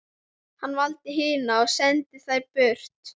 Hann valdi hina og sendi þær burt.